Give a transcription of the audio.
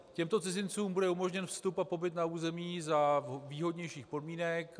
Těmto cizincům bude umožněn vstup a pobyt na území za výhodnějších podmínek.